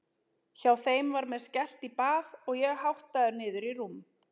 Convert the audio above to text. Hjá þeim var mér skellt í bað og ég háttaður niður í rúm.